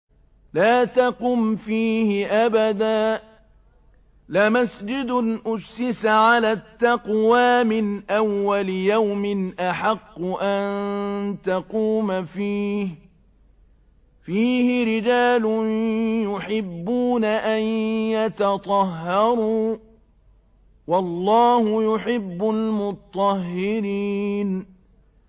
لَا تَقُمْ فِيهِ أَبَدًا ۚ لَّمَسْجِدٌ أُسِّسَ عَلَى التَّقْوَىٰ مِنْ أَوَّلِ يَوْمٍ أَحَقُّ أَن تَقُومَ فِيهِ ۚ فِيهِ رِجَالٌ يُحِبُّونَ أَن يَتَطَهَّرُوا ۚ وَاللَّهُ يُحِبُّ الْمُطَّهِّرِينَ